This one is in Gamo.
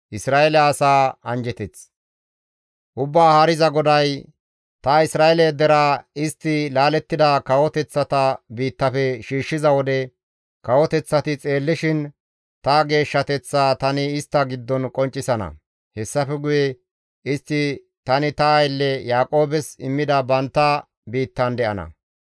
Ubbaa Haariza GODAY, «Ta Isra7eele deraa istti laalettida kawoteththata biittafe shiishshiza wode, kawoteththati xeellishin ta geeshshateththaa tani istta giddon qonccisana; hessafe guye istti tani ta aylle Yaaqoobes immida bantta biittan de7ana.